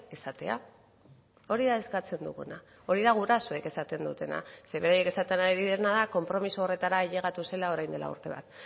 esatea hori da eskatzen duguna hori da gurasoek esaten dutena zeren beraiek esaten ari direna da konpromiso horretara ailegatu zela orain dela urte bat